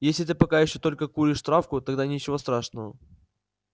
если ты пока ещё только куришь травку тогда ничего страшного